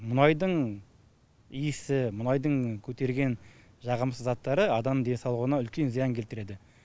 мұнайдың иісі мұнайдың көтерген жағымсыз заттары адам денсаулығына үлкен зиян келтіреді